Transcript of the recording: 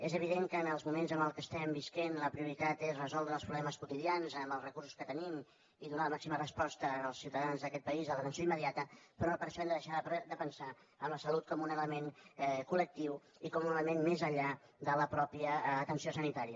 és evident que en els moments en què estem vivint la prioritat és resoldre els problemes quo·tidians amb els recursos que tenim i donar la màxima resposta als ciutadans d’aquest país a l’atenció imme·diata però no per això hem de deixar de pensar en la salut com un element colenllà de la mateixa atenció sanitària